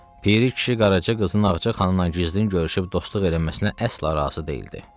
Piri kişi Qaraca qızın Ağca xanımla gizlin görüşüb dostluq eləməsinə əsla razı deyildi.